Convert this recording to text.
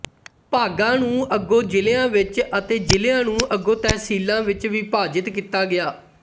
ਭਾਗਾਂ ਨੂੰ ਅਗੋ ਜ਼ਿਲਿਆ ਵਿਚ ਅਤੇ ਜ਼ਿਲਿਆ ਨੂੰ ਅਗੋ ਤਹਿਸੀਲਾਂ ਵਿਚ ਵਿਭਾਜਿਤ ਕੀਤਾ ਗਿਆ